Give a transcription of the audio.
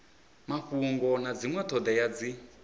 mafhungo na dzinwe thodea dzi